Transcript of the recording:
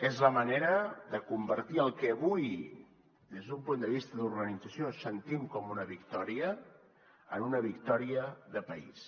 és la manera de convertir el que avui des d’un punt de vista d’organització sentim com una victòria en una victòria de país